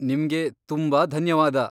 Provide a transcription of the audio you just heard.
ನಿಮ್ಗೆ ತುಂಬಾ ಧನ್ಯವಾದ.